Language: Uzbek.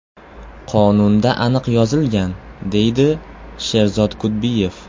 Qonunda aniq yozilgan”, deydi Sherzod Kudbiyev.